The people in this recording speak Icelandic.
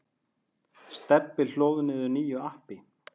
Stebbi hlóð niður nýju appi.